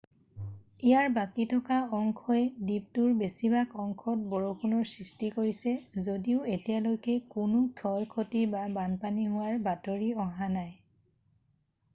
ইয়াৰ বাকী থকা অংশই দ্বীপটোৰ বেছিভাগ অংশত বৰষুণৰ সৃষ্টি কৰিছে যদিও এতিয়ালৈকে কোনো ক্ষয় ক্ষতি বা বানপানী হোৱাৰ বাতৰি অহা নাই